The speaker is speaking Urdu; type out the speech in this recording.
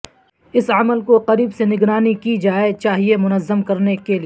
اس عمل کو قریب سے نگرانی کی جائے چاہئے منظم کرنے کے لئے